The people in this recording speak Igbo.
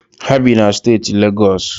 Ha bi na steeti Legọsụ.